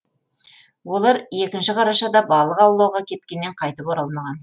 олар екінші қарашада балық аулауға кеткеннен қайтып оралмаған